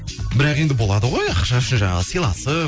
бірақ енді болады ғой ақша үшін жаңағы сыйласып